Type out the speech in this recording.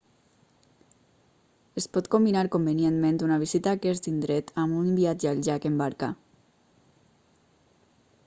es pot combinar convenientment una visita a aquest indret amb un viatge al llac en barca